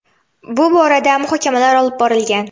Bu borada muhokamalar olib borilgan.